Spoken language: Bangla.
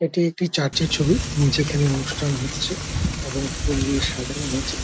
এটি একটি চার্চ - এর ছবি যেখানে অনুষ্ঠান হচ্ছে। এবং ফুল দিয়ে সাজানো হয়েছে।